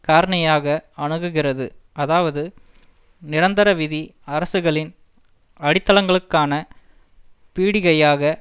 காரணியாக அணுகுகிறது அதாவது நிரந்தரவிதி அரசுகளின் அடித்தளங்களுக்கான பீடிகையாக